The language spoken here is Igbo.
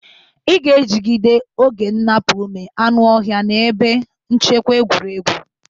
Ị ga-ejide oge nnapu ume anụ ọhịa na ebe nchekwa egwuregwu.